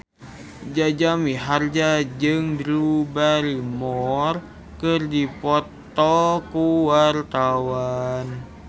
Jaja Mihardja jeung Drew Barrymore keur dipoto ku wartawan